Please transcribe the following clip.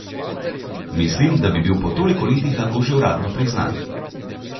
Mislim, da bi bil po toliko letih lahko že uradno priznan.